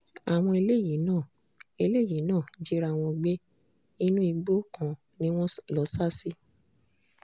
àwọn eléyìí náà eléyìí náà jíra wọn gbé inú igbó kan ni wọ́n lọ́ọ sá sí